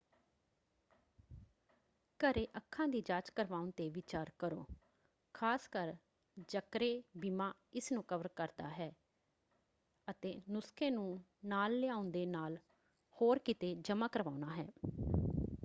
ਘਰੇ ਅੱਖਾਂ ਦੀ ਜਾਂਚ ਕਰਵਾਉਣ 'ਤੇ ਵਿਚਾਰ ਕਰੋ ਖ਼ਾਸਕਰ ਜਕਰੇ ਬੀਮਾ ਇਸ ਨੂੰ ਕਵਰ ਕਰਦਾ ਹੈ ਅਤੇ ਨੁਸਖ਼ੇ ਨੂੰ ਨਾਲ ਲਿਆਉਣ ਦੇ ਨਾਲ ਹੋਰ ਕਿਤੇ ਜਮ੍ਹਾਂ ਕਰਵਾਉਣਾ ਹੈ।